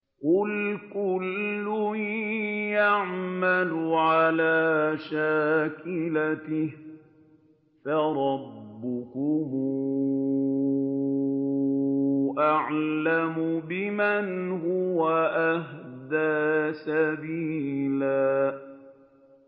قُلْ كُلٌّ يَعْمَلُ عَلَىٰ شَاكِلَتِهِ فَرَبُّكُمْ أَعْلَمُ بِمَنْ هُوَ أَهْدَىٰ سَبِيلًا